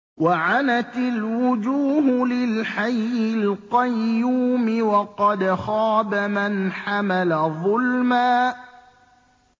۞ وَعَنَتِ الْوُجُوهُ لِلْحَيِّ الْقَيُّومِ ۖ وَقَدْ خَابَ مَنْ حَمَلَ ظُلْمًا